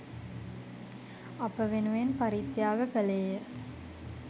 අප වෙනුවෙන් පරිත්‍යාග කළේය.